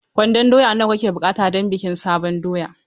Kwandon doya nawa muke buƙata don bikin sabon doya?